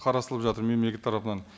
қарастырылып жатыр мемлекет тарапынан